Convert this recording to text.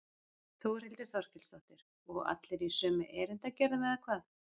Þórhildur Þorkelsdóttir: Og allir í sömu erindagjörðum eða hvað?